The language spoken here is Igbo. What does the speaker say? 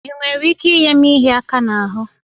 Ị nwere ike inye m ịhịa aka n'ahụ?